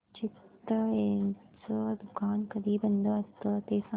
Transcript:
चितळेंचं दुकान कधी बंद असतं ते सांग